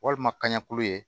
Walima kaɲɛku ye